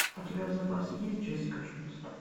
у тебя в запасе есть джессика джонс